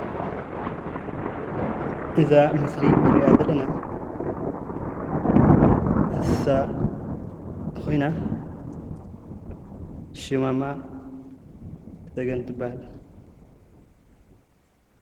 እዛ ምስሊ እንሪኣ ዘለና እንስሳ ኾይና ሽማ ድማ ሰጎን ትበሃል።